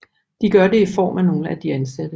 De gør det i form af nogle af de ansatte